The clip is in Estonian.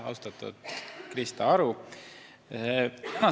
Austatud Krista Aru!